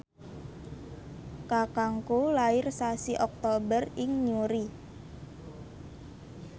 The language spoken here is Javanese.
kakangku lair sasi Oktober ing Newry